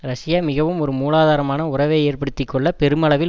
Russia மிகவும் ஒரு மூலாதாரமான உறவை ஏற்படுத்தி கொள்ள பெருமளவில்